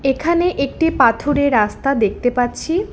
এখানে একটি পাথুরে রাস্তা দেখতে পাচ্ছি।